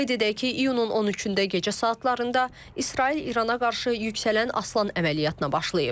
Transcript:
Qeyd edək ki, iyunun 13-də gecə saatlarında İsrail İrana qarşı yüksələn aslan əməliyyatına başlayıb.